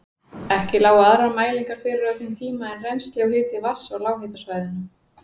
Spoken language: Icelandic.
Ekki lágu aðrar mælingar fyrir á þeim tíma en rennsli og hiti vatns á lághitasvæðunum.